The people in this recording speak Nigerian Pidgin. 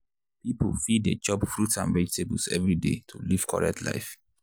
people fit dey chop fruit and vegetables every day to live correct life.